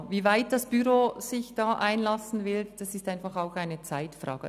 Inwieweit das Büro sich da einlassen wird, ist einfach auch eine Zeitfrage.